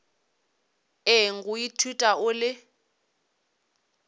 eng go ithuta o le